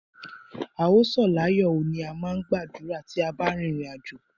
A ó sọ̀ láyó oo, ni a máà ń gbà ládùrá tí a bá ń rin ìrìn àjò.